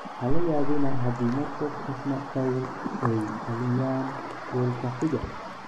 "Ha la yaabina haddii Marcus ama Paul ay dhaliyaan goolka xiga."